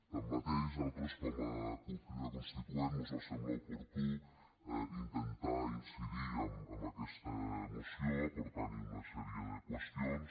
tanmateix a nosaltres com a cup crida constituent mos va semblar oportú intentar incidir en aquesta moció aportant hi una sèrie de qüestions